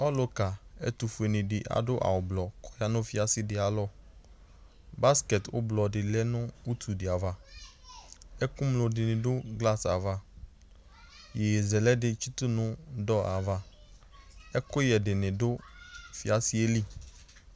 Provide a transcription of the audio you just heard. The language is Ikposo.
ɔlʋka ɛtʋfʋɛ ni adʋ awʋ blɔ busket blɔ di lɛ nʋ ʋtʋ di aɣa ɛkʋmlo di ni dʋ glass aɣa yɛyɛzɛlɛ di tsitʋ nʋ door aɣa ɛkʋyɛ dini dʋ fiasɛ ɛli